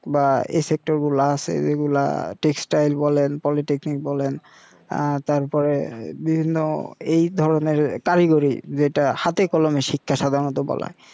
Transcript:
বা এই গুলা আছে যেগুলা বলেন বলেন আ তারপরে বিভিন্ন এই ধরনের কারিগরি যেটা হাতে কলমে শিক্ষা সাধারনত বলা হয়